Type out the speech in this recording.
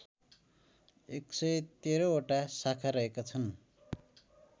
११३ वटा शाखा रहेका छन्